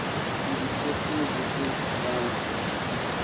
ndikhefuze kuthi manga